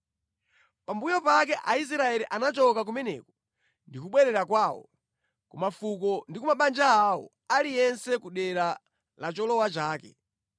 Pambuyo pake Aisraeli anachoka kumeneko ndi kubwerera kwawo, ku mafuko ndi ku mabanja awo, aliyense ku dera la cholowa chake.